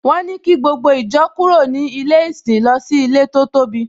Wọ́n ní kí gbogbo ìjọ kúrò ní ilé ìsìn lọ sí ilé tó tóbi